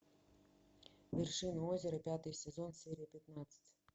вершина озера пятый сезон серия пятнадцать